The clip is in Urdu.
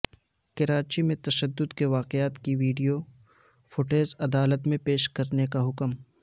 کراچی میں تشدد کے واقعات کی ویڈیو فوٹیج عدالت میں پیش کرنے کا حکم